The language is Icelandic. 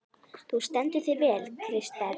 Þú stendur þig vel, Kristberg!